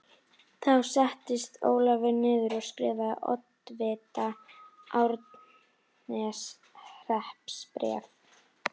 Þá settist Ólafur niður og skrifaði oddvita Árneshrepps bréf.